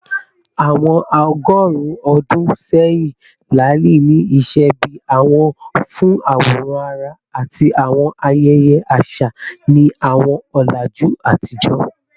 Awọn ọgọrun ọdun sẹyin, laali ni iṣẹ bi awọ fun aworan ara ati awọn ayẹyẹ aṣa ni awọn ọlaju atijọ.